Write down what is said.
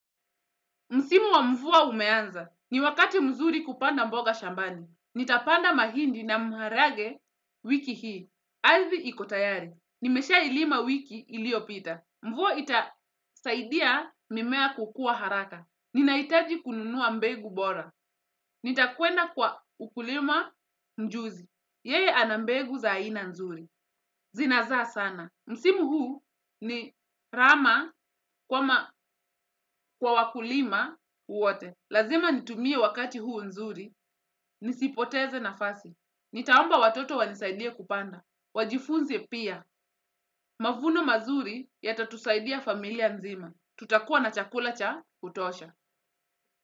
Msimu wa mvua umeanza. Ni wakati mzuri kupanda mboga shambani. Nitapanda mahindi na mharage wiki hii. Aridhi iko tayari. Nimeshailima wiki iliopita. Mvua itasaidia mimea kukua haraka. Ninahitaji kununua mbegu bora. Nitakwenda kwa ukulima mjuzi. Yeye ana mbegu za aina nzuri. Zinazaa sana. Msimu huu ni rama kwa wakulima uwote. Lazima nitumie wakati huu nzuri, nisipoteze nafasi. Nitaomba watoto wanisaidie kupanda. Wajifunze pia, mavuno mazuri yatatusaidia familia nzima. Tutakuwa na chakula cha kutosha.